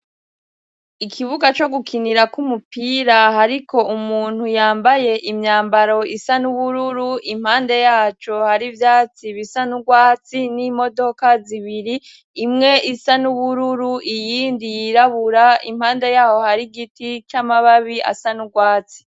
Ikibuga co gukinirako umupira hariko umuntu yambaye imyambaro isa n'ubururu; Impande yaco hari ivyatsi bisa n'urwatsi n'imodoka zibiri , imwe isa n'ubururu iyindi yirabura. Impande yaho hari giti c'amababi asa n'urwatsi.